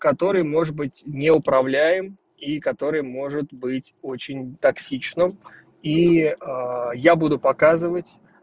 который может быть неуправляем и который может быть очень токсично и я буду показывать